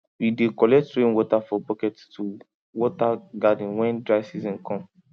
we dey collect rain water for bucket to water garden when dry season come